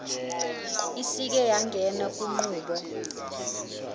isike yangena kunqubo